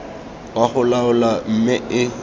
wa go laola mme e